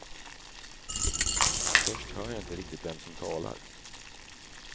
Först hör jag inte riktigt vem som talar.